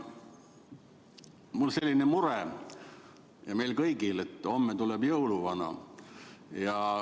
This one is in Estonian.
Mul on selline mure, meil kõigil on, et homme tuleb jõuluvana.